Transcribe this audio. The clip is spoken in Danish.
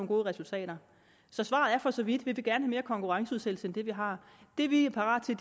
gode resultater så svaret er for så vidt at vi gerne mere konkurrenceudsættelse end det vi har det vi er parate